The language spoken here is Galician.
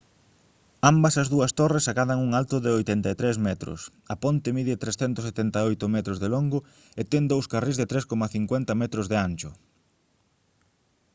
ambas as dúas torres acadan un alto de 83 metros a ponte mide 378 metros de longo e ten dous carrís de 3,50 m de ancho